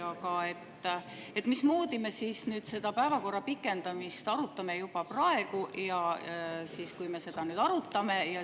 Aga mismoodi me seda pikendamist arutame juba praegu?